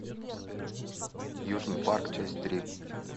южный парк часть три